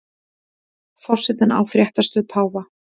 Forsetinn á fréttastöð páfa